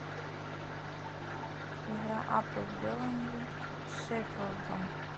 игра апл бернли с шеффилдом